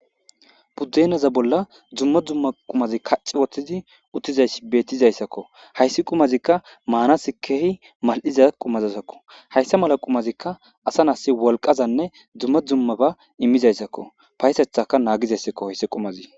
Budenaza bolla duma duma qumas kathati wothidi uttidaysi betizaysako haysi qumazika manas malizaysazako hasa mala qumazika wolqazane duma duma ba imizaysazako patethaka nagizaysako haysi qumazi